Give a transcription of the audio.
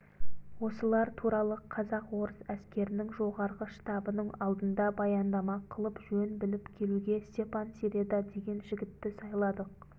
осылар туралы казак-орыс әскерінің жоғарғы штабының алдында баяндама қылып жөн біліп келуге степан середа деген жігітті сайладық